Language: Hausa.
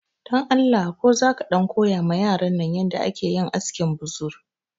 Dan Allah ko za ka ɗan koya ma yaran nan yanda ake yin askin buzur